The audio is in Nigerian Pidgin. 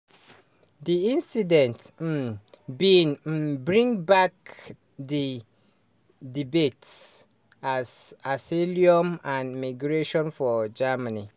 di incident um bin um bring back di debate as asylum and migration for germany.